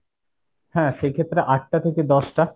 হ্যাঁ সেই ক্ষেত্রে আট টা থেকে দশ টা।